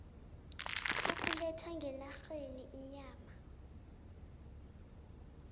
sokuletha ngenarheni inyama